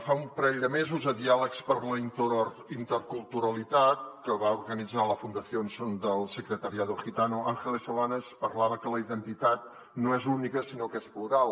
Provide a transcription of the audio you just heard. fa un parell de mesos a diàlegs per la interculturalitat que va organitzar la fundación secretariado gitano ángeles solanes parlava que la identitat no és única sinó que és plural